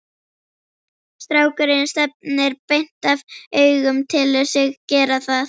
Strákurinn stefnir beint af augum, telur sig gera það.